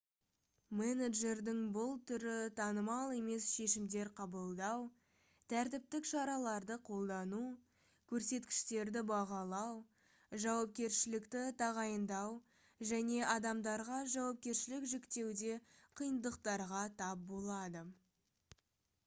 менеджердің бұл түрі танымал емес шешімдер қабылдау тәртіптік шараларды қолдану көрсеткіштерді бағалау жауапкершілікті тағайындау және адамдарға жауапкершілік жүктеуде қиындықтарға тап болады